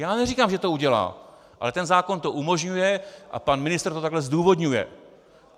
Já neříkám, že to udělá, ale ten zákon to umožňuje a pan ministr to takhle zdůvodňuje.